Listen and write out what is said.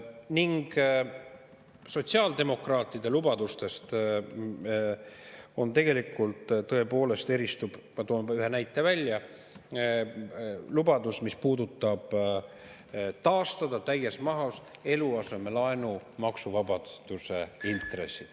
Ja sotsiaaldemokraatide lubadustest tegelikult tõepoolest eristub – ma toon ühe näite välja – lubadus, mis puudutab eluasemelaenu intresside maksuvabastuse täies mahus taastamist.